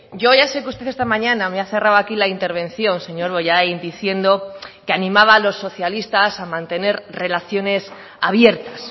yo ya sé que usted esta mañana me ha cerrado aquí la intervención señor bollain diciendo que animaba a los socialistas a mantener relaciones abiertas